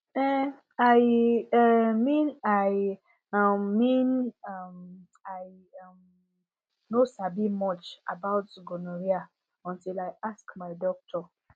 uhm i um mean i um mean um i um no sabi much about gonorrhea until i ask my doctor